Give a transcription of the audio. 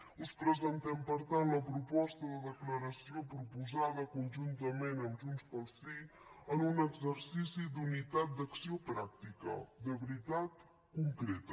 us presentem per tant la proposta de declaració proposada conjuntament amb junts pel sí en un exercici d’unitat d’acció pràctica de veritat concreta